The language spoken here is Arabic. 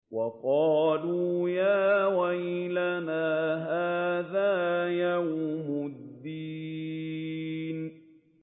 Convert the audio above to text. وَقَالُوا يَا وَيْلَنَا هَٰذَا يَوْمُ الدِّينِ